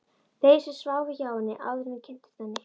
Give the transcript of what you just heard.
Þeim sem sváfu hjá henni, áður en ég kynntist henni.